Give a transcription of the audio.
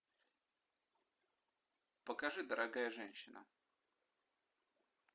покажи дорогая женщина